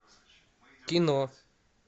кино